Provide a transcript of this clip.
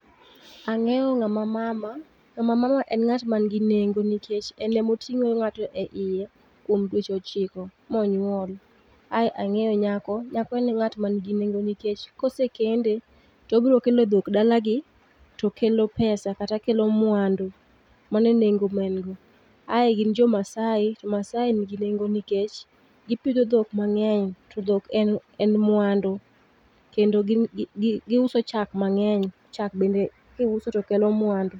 Ang'eyo ng'ama mama, ng'ama mama en ng'at man gi nengo nikech en emoting'o ng'ato e iye kuom dweche ochiko monyuol. Ae ang'eyo nyako, nyako en ng'ano man gi nengo nikech kosekende tobrokelo dhok dalagi tokelo pesa kata kelo mwandu. Mano e nengo ma en go. Ae gin jo Masai to Masai nigi nengo nikech gipidho dhok mang'eny to dhok en en mwandu. Kendo giuso chak mang'eny, chak bende kiuso to kelo mwandu.